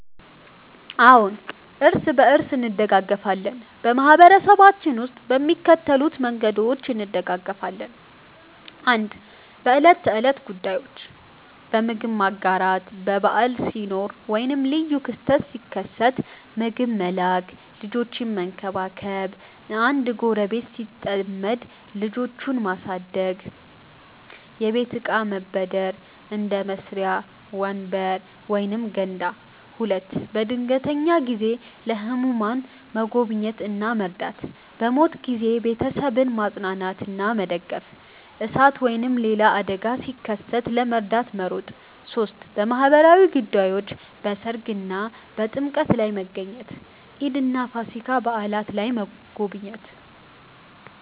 አዎን፣ እርስ በርሳችን እንደጋገፋለን በማህበረሰባችን ውስጥ በሚከተሉት መንገዶች እንደጋገፋለን፦ 1. በዕለት ተዕለት ጉዳዮች · በምግብ መጋራት – በዓል ሲኖር ወይም ልዩ ክስተት ሲከሰት ምግብ መላክ · ልጆችን መንከባከብ – አንድ ጎረቤት ሲጠመድ ልጆቹን ማሳደግ · የቤት እቃ መበደር – እንደ መሳሪያ፣ ወንበር ወይም ገንዳ 2. በድንገተኛ ጊዜ · ለህሙማን መጎብኘት እና መርዳት · በሞት ጊዜ ቤተሰቡን ማጽናናትና መደገፍ · እሳት ወይም ሌላ አደጋ ሲከሰት ለመርዳት መሮጥ 3. በማህበራዊ ጉዳዮች · በሠርግ እና በጥምቀት ላይ መገኘት · ኢድ እና ፋሲካ በዓላት ላይ መጎብኘት